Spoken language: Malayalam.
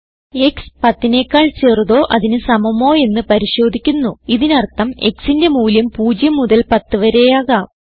x 10നെക്കാൾ ചെറുതോ അതിന് സമമോയെന്ന് പരിശോധിക്കുന്നു ഇതിനർഥം xന്റെ മൂല്യം 0 മുതൽ 10 വരെയാകാം